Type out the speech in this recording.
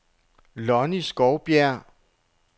Lonny Skovbjerg